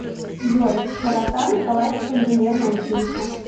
джой широта николаевское инженерное училище